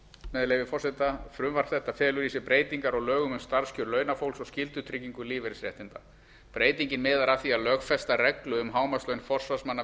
með leyfi forseta frumvarp þetta felur í sér breytingar á lögum um starfskjör launafólks og skyldutryggingu lífeyrisréttinda breytingin miðar að því að lögfesta reglu um hámarkslaun forsvarsmanna